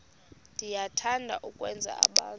niyathanda ukwenza abantu